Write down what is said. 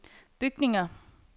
bygninger